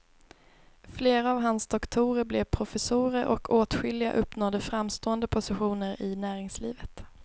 Flera av hans doktorer blev professorer och åtskilliga uppnådde framstående positioner i näringslivet.